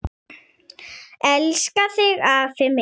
Elska þig afi minn.